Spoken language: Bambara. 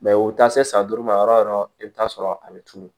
u bɛ taa se san duuru ma yɔrɔ o yɔrɔ i bɛ taa sɔrɔ a bɛ tulu